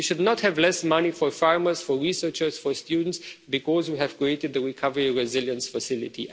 We should not have less money for farmers, for researchers, for students, because we have created the Recovery and Resilience Facility.